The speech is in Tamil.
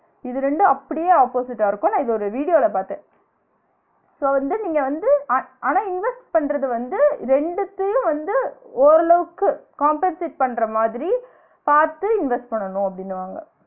இது ரெண்டும் அப்டியே opposite ஆ இருக்கும் நான் இத ஒரு வீடியோல பாத்தன் so வந்து நீங்க வந்து அ~ ஆனா invest பண்றது வந்து ரெண்டுத்தயும் வந்து ஓரளவுக்கு compensate பண்ற மாதிரி பாத்து invest பண்ணனும் அப்டினுவாங்க